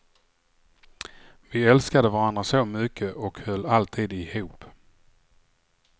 Vi älskade varandra så mycket och höll alltid ihop.